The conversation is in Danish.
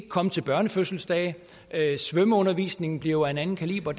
komme til børnefødselsdage at svømmeundervisningen bliver af en anden kaliber